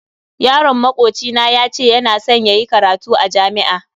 Yaron makoci na yace yana san yayi karatu a jami'a.